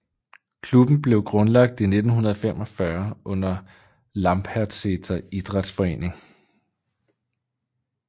Klubben blev grundlagt i 1945 under Lambertseter Idrettsforening